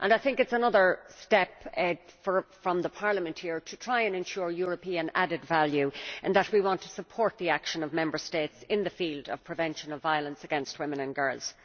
I think it is another step by Parliament to try and ensure European added value and to show that we want to support the action of Member States in the field of prevention of violence against women and girls.